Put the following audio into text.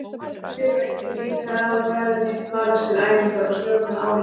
Hver og einn getur líka ráðið ferðinni, valið sér æfingar og stjórnað álaginu.